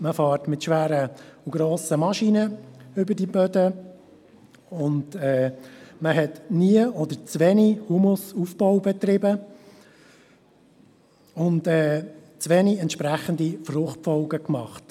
Man fährt mit schweren und grossen Maschinen über diese Böden, und man hat nie oder zu wenig Humusaufbau betrieben und zu wenige entsprechende Fruchtfolgen gemacht.